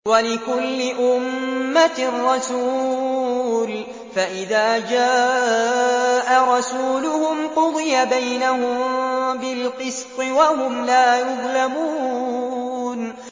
وَلِكُلِّ أُمَّةٍ رَّسُولٌ ۖ فَإِذَا جَاءَ رَسُولُهُمْ قُضِيَ بَيْنَهُم بِالْقِسْطِ وَهُمْ لَا يُظْلَمُونَ